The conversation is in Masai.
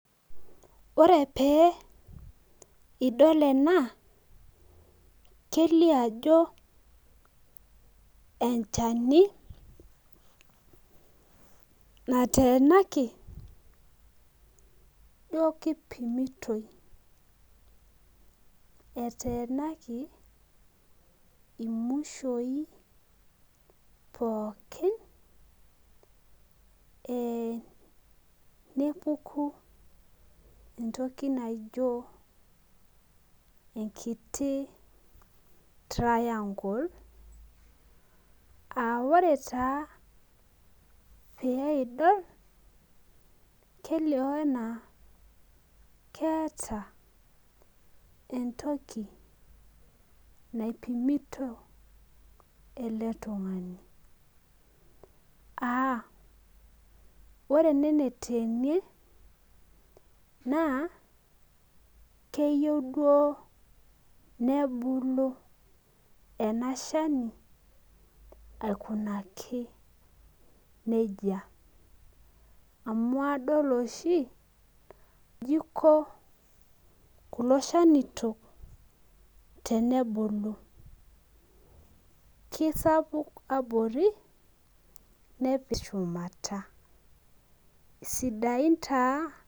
Ore pee idol ena kelioo ajo enchani, nateenaki ijo kipimitoi. eteenaki mushoi pookin, nepuku entoki naijo enkiti triangle aa ore taa pee idol, kelioo anaa keeta entoki naipimito ele tungani aa ore ene neteenie naa keyieu duo nebulu ena Shani aikunaki nejia. amu adol oshi iji Iko kulo shanitok, tenebulu. kisapuk abori. nepir shumata.